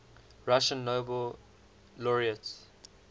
russian nobel laureates